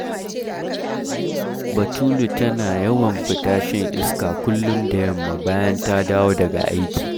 Batulu tana yawan fita shan iska kullum da yamma bayan ta dawo daga aiki